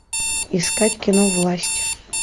искать кино власть